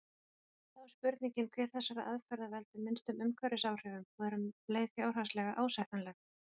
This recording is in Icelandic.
Þá er spurningin hver þessara aðferða veldur minnstum umhverfisáhrifum og er um leið fjárhagslega ásættanleg.